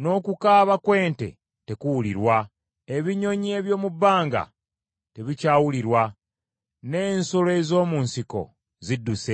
n’okukaaba kw’ente tekuwulirwa. Ebinyonyi eby’omu bbanga tebikyawulirwa n’ensolo ez’omu nsiko zidduse.